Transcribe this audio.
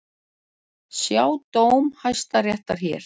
Sjá dóm Hæstaréttar hér